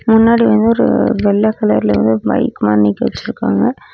முன்னாடி வந்து ஒரு வெள்ள கலர்ல வந்து ஒரு பைக் மாரி நிக்க வச்சுருக்காங்க.